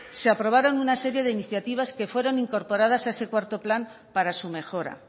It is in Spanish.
se aprobaron una serie de iniciativas que fueron incorporadas a ese cuarto plan para su mejora